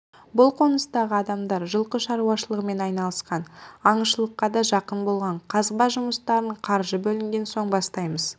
бұл қоныстағы адамдар жылқы шаруашылығымен айналысқан аңшылыққа да жақын болған қазба жұмыстарын қаржы бөлінген соң бастаймыз